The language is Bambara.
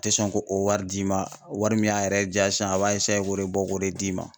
A tɛ sɔn ko o wari d'i ma wari min y'a yɛrɛ jasɛ a b'a k'o de bɔ k'o de d'i ma.